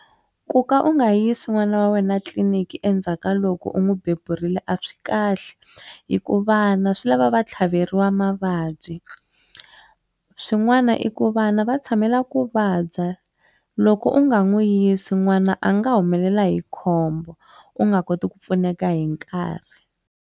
Ku ka u nga yisi n'wana wa wena etliliniki endzhaka loko u n'wi beburiwile a swi kahle hi ku vana swi lava va tlhaveriwa mavabyi swin'wana i ku vana va tshamela ku vabya loko u nga n'wu yisi n'wana a nga humelela hi khombo u nga koti ku pfuneka hi nkarhi.